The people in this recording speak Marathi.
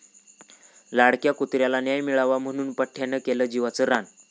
लाडक्या कुत्र्याला न्याय मिळावा म्हणून पठ्ठयानं केलं जीवाचं रान!